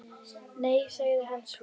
Nei- sagði hann svo.